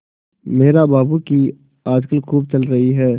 मेहरा बाबू की आजकल खूब चल रही है